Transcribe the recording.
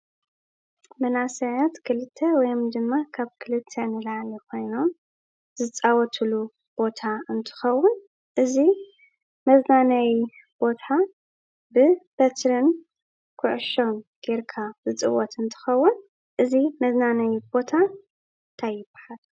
መናእሰያት ክልተ ወይ ድማ ካብ ክልተ ንላዕሊ ኮይኖም ዝፃወትሉ ቦታ እንትኸውን እዚ መዝናነዪ ቦታ ብበትሪ ኩዕሾ ጌርካ ዝፅወት እንትኸውን እዚ መዝናነዪ ቦታ እንታይ ይባሃል?